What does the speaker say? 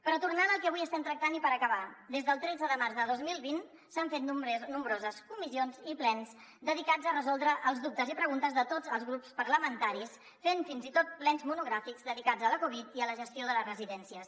però tornant al que avui estem tractant i per acabar des del tretze de març de dos mil vint s’han fet nombroses comissions i plens dedicats a resoldre els dubtes i preguntes de tots els grups parlamentaris fent fins i tot plens monogràfics dedicats a la covid i a la gestió de les residències